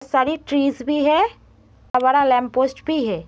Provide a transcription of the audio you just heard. सारी ट्रीस भी हैं। लैम्प पोस्ट भी है।